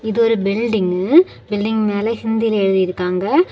இது ஒரு building building மேல ஹிந்தில எழுதிருக்காங்க.